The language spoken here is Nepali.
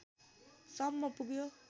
सम्म पुग्यो